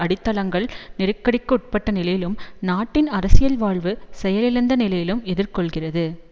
அடித்தளங்கள் நெருக்கடிக்குட்பட்ட நிலையிலும் நாட்டின் அரசியல் வாழ்வு செயலிழந்த நிலையிலும் எதிர்கொள்ளுகிறது